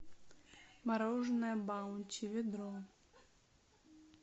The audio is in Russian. мороженое баунти ведро